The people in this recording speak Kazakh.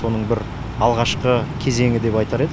соның бір алғашқы кезеңі деп айтар едік